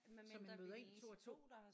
Så man møder ind 2 og 2